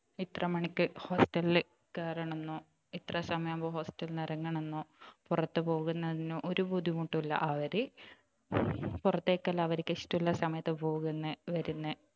ഇത്ര മണിക്ക് hostel ൽ കയറണം എന്നോ ഇത്ര സമയം ആകുമ്പോൾ hostel ൽ നിന്നും ഇറങ്ങണം എന്നോ പുറത്തു പോകുന്നതിനോ ഒരു ബുദ്ധിമുട്ടും ഇല്ല അവർ പുറത്തേക്കെല്ലാം അവർക്ക് ഇഷ്ടമുള്ള സമയത്ത് പോകുന്നു വരുന്നു